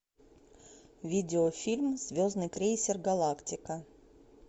видеофильм звездный крейсер галактика